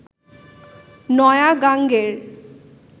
নয়া গাঙের